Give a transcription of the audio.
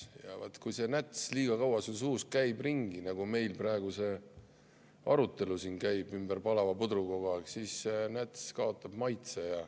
Ja vot, kui see näts liiga kaua suus ringi käib, nagu meil praegu see arutelu käib ümber palava pudru kogu aeg, siis näts kaotab maitse.